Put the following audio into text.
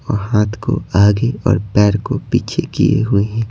और हाथ को आगे और पैर को पीछे किए हुए है।